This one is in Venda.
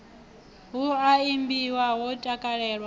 hu a imbiwa ho takalelwa